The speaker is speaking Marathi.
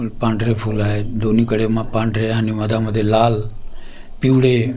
पांढरे फुल आहेत दोन्हीकडे म पांढरे आणि मधामध्ये लाल पिवळे--